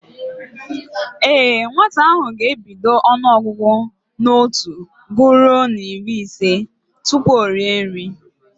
Ee, nwata ahụ ga-ebido ọnụọgụgụ n'otu guruo n'iri ise tupu o rie nri